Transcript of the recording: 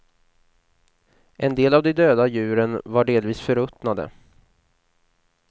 En del av de döda djuren var delvis förruttnade.